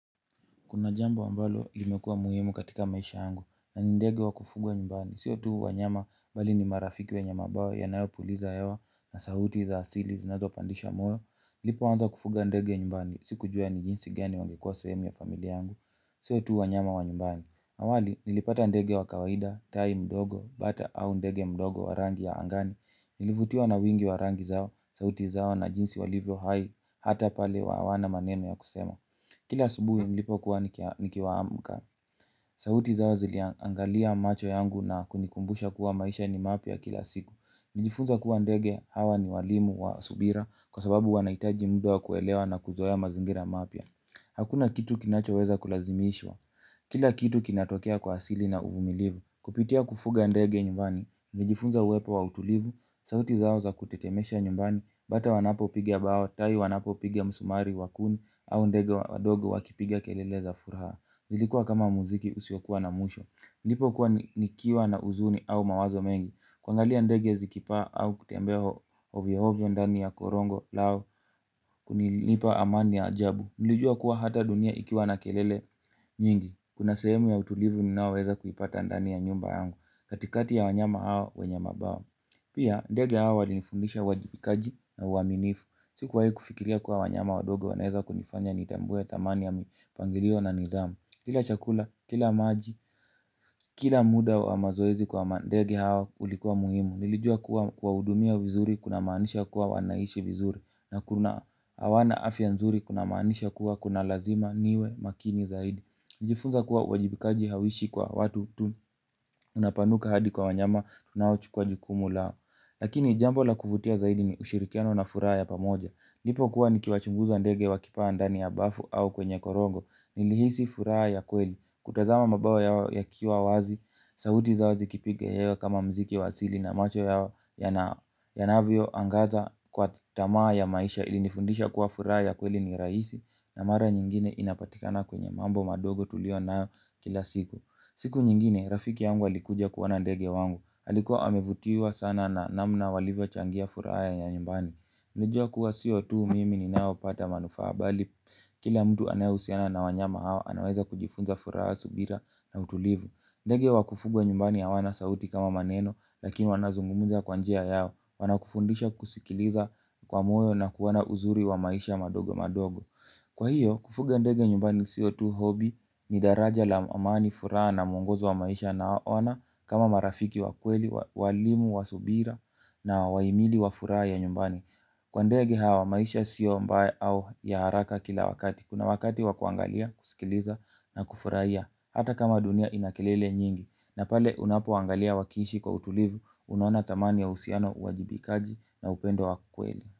Kuna jamba ambalo ilimekua muhimu katika maisha yangu na ni ndege wa kufugwa nyumbani. Sio tu wanyama bali ni marafiki wenye mabawa yanayo puliza hewa na sauti za asili zinazo pandisha moyo. Nilipoanza kufuga ndege ya nyumbani, sikujua ni jinsi gani wangekua sehemu ya familia yangu. Siyo tuu wa nyama wa nyumbani. Awali, nilipata ndege wa kawaida, tai mdogo, bata au ndege mdogo wa rangi ya angani. Nilivutiwa na wingi wa rangi zao, sauti zao na jinsi walivyo hai, hata pale hawana maneno ya kusema. Kila subuhi nilipo kuwa nikiamka, sauti zao ziliangalia macho yangu na kunikumbusha kuwa maisha ni mapya kila siku. Nijifunzwa kuwa ndege hawa ni walimu wa subira kwa sababu wanahitaji muda wa kuelewa na kuzoea mazingira mapya. Hakuna kitu kinacho weza kulazimishwa, kila kitu kinatokea kwa asili na uvumilivu. Kupitia kufuga ndege nyumbani, nijifunza uwepo wa utulivu, sauti zao za kutetemesha nyumbani, bata wanapopigia bao, tai wanapo pigia msumari wakuni, au ndege wadogo wakipiga kelele za furaha. Ilikuwa kama muziki usiokuwa na mwisho nilipokuwa nikiwa na huzuni au mawazo mengi. Kwangalia ndege zikipaa au kutembea ovyo ovyo ndani ya korongo lao, kulinipa amani ya ajabu. Nilijua kuwa hata dunia ikiwa na kelele nyingi kuna sehemu ya utulivu ninayoweza kuipata ndani ya nyumba yangu. Katikati ya wanyama hao wenye mabawa pia, ndege hawa walinifundisha uwajibikaji na uaminifu. Sikuwahi kufikiria kuwa wanyama wadogo wanaweza kunifanya nitambue dhamani ya mipangilio na nidhamu. Kila chakula, kila maji, kila muda wa mazoezi kwa mandege hawa ulikuwa muhimu. Nilijua kuwa kuwa kuwahudumia vizuri kunamaanisha kuwa wanaishi vizuri. Na kuna hawana afya nzuri kunamaanisha kuwa kuna lazima niwe makini zaidi. Nilijifunza kuwa wajibikaji hauishi kwa watu tu unapanuka hadi kwa wanyama tunaochukuwa jukumu lao. Lakini jambo la kuvutia zaidi ni ushirikiano na furaha ya pamoja. Nilipokuwa nikiwachunguza ndege wakipaa ndani ya bafu au kwenye korongo, nilihisi furaha ya kweli. Kutazama mabawa yao yakiwa wazi, sauti zao zikipiga hewa kama muziki wa asili na macho yao yanavyoangaza kwa tamaa ya maisha, ilinifundisha kwa furaha ya kweli ni rahisi na mara nyingine inapatikana kwenye mambo madogo tulio nayo kila siku. Siku nyingine, rafiki yangu alikuja kuona ndege wangu. Alikuwa amevutiwa sana na namna walivyochangia furaha ya nyumbani. Nijua kuwa sio tu mimi ni naopata manufaa bali, kila mtu aneyehusiana na wanyama hawa, anaweza kujifunza furaha subira na utulivu. Ndege wakufugwa nyumbani ya hawana sauti kama maneno, lakini wanazungumuza kwa njia yao. Wanakufundisha kusikiliza kwa moyo na kuona uzuri wa maisha madogo madogo. Kwa hio, kufuga ndege nyumbani sio tu hobby ni daraja la amani furaha na mungozo wa maisha nawaona kama marafiki wa kweli, walimu wa subira na wahimili wa furaha ya nyumbani. Kwa ndege hawa, maisha sio mbaya au ya haraka kila wakati. Kuna wakati wakuangalia, kusikiliza na kufurahia. Hata kama dunia ina kelele nyingi. Na pale unapoangalia wakiishi kwa utulivu, unaona thamani ya uhusiano, uwajibikaji na upendo wa kweli.